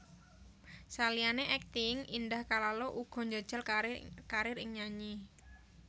Saliyané akting Indah Kalalo uga njajal karir ing nyanyi